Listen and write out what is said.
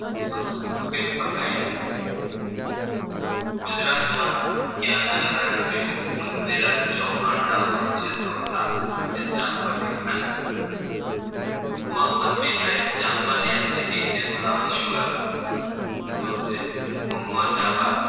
ગુજરાતમાં ક્યાંના રાજવીઓ પૃથ્વી રાજ ચૌહાણ ના વંશજો હતા તો કે ચાંપાનેર ના મોહમ્મદ બેગડાએ ચાંપાનેર જીતી તેનું નામ શું રાખ્યું હતું જવાબ છે મુહમ્મદાબાદ